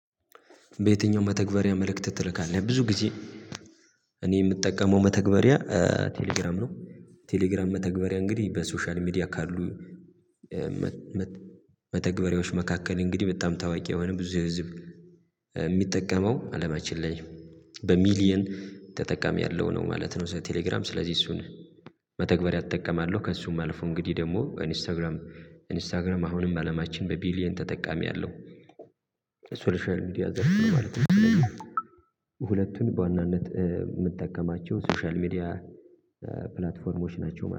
በየትኛው መተግበሪያ መልእክት ትልካለህ ብዙ ጊዜ? እኔ የምጠቀመው መተግበሪያ ቴሌግራም ነው። ቴሌግራም መተግበሪያ እንግዲህ በሶሻል ሚዲያ ካሉ መተግበሪያዎች መካከል እንግዲህ በጣም ታዋቂ የሆነ ብዙ ህዝብ የሚጠቀመው አለማችን ላይ በሚሊየን ተጠቃሚ ያለው ነው ማለት ነው። ቴሌግራም ስለዚህ እሱን መተግበሪያ እጠቀማለሁ ከእሱም አልፎ እንግዲህ ደግሞ ኢንስታግራም ኢንስታግራም አሁንም አለማችን በቢሊየን ተጠቃሚ አለው በሶሻል ሚዲያ ዘርፍ ነው ማለት ነው። ሁለቱን በዋናነት የምጠቀማቸው ሶሻል ሚዲያ ፕላትፎርሞች ናቸው